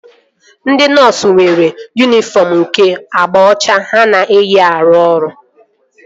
Ndị nọọsu nwere yunifọm nke agba ọcha ha na-eyi arụ ọrụ